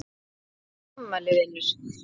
Hvenær áttu afmæli vinur?